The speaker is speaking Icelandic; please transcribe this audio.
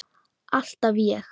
Alltaf ég.